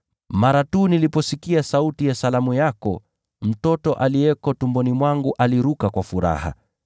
Mara tu niliposikia sauti ya salamu yako, mtoto aliyeko tumboni mwangu aliruka kwa furaha.